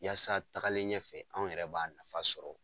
Yasa tagalen ɲɛfɛ anw yɛrɛ b'a nafa sɔrɔ.